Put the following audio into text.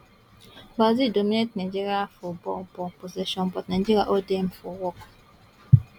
brazil dominate nigeria for ball ball possession but nigeria hold dem for work